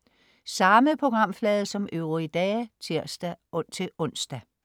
Samme programflade som øvrige dage (tirs-ons)